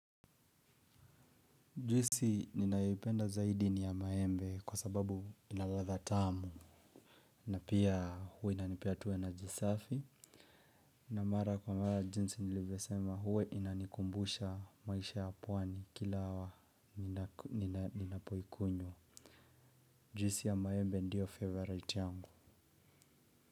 Juisi ninayoipenda zaidi ni ya maembe kwa sababu ina ladha tamu. Na pia huwa inanipea tu energy safi. Na mara kwa mara jinsi nilivosema hua inanikumbusha maisha ya pwani kila hawa ninapoikunyo. Juisi ya maembe ndiyo favorite yangu.